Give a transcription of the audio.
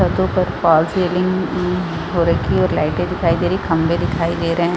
--छत्तों पर fall ceiling हो रखी है और लाइटे दिखाई दे रही है और खम्भे दिखाई दे रहे है।